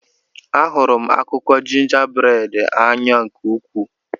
Ahụrụ m akụkọ jingaberad n'anya nke ukwuu.